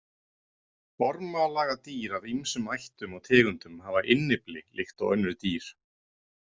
Ormalaga dýr af ýmsum ættum og tegundum hafa innyfli líkt og önnur dýr.